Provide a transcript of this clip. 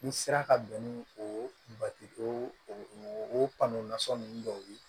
N'i sera ka bɛn ni o o nasɔn ninnu dɔw ye